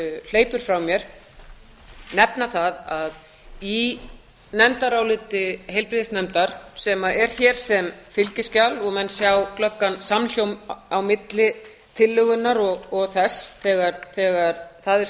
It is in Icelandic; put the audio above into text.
hleypur frá mér nefna að í nefndaráliti heilbrigðisnefndar sem er hér sem fylgiskjal og menn sjá glöggan samhljóm á milli tillögunnar og þess þegar það er